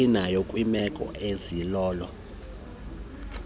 inayo kwiimeko ezilolo